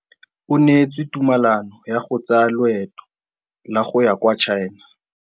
O neetswe tumalanô ya go tsaya loetô la go ya kwa China.